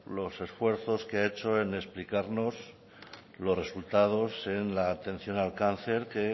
los esfuerzos que ha hecho en explicarnos los resultados en la atención al cáncer que